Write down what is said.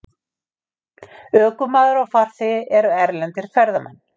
Ökumaður og farþegi eru erlendir ferðamenn